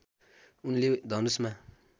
उनले धनुषमा